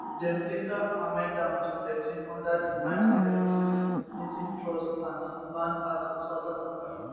dem later amend am to thirteen under di 1936 native trust and land act of south africa